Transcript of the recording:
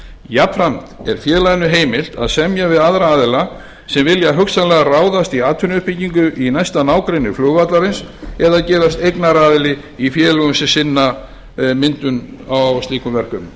jafnframt er félaginu heimilt að semja við aðra aðila sem vilja hugsanlega ráðast í atvinnuuppbyggingu í næsta nágrenni flugvallarins eða gerast eignaraðili í félögum sem sinna myndu slíkum